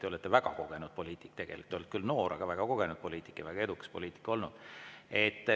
Te olete väga kogenud poliitik tegelikult, te olete küll noor, aga väga kogenud poliitik ja väga edukas poliitik.